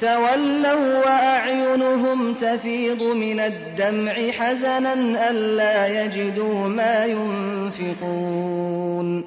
تَوَلَّوا وَّأَعْيُنُهُمْ تَفِيضُ مِنَ الدَّمْعِ حَزَنًا أَلَّا يَجِدُوا مَا يُنفِقُونَ